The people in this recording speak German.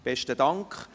Besten Dank.